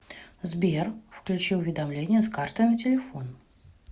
сбер включи уведомления с карты на телефон